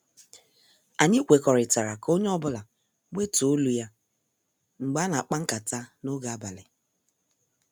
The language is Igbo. Anyị kwekọrịtara ka onye ọ bụla wetuo olu ya mgbe ana- akpa nkata n' oge abalị.